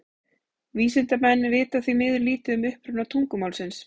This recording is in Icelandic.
Vísindamenn vita því miður lítið um uppruna tungumálsins.